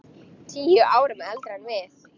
Tíu árum eldri en við.